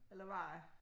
Eller hvad